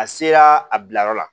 A sera a bilayɔrɔ la